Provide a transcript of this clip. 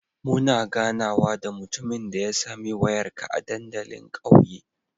Muna ganawa da mutumin da ya sami wayarka a dandalin ƙauye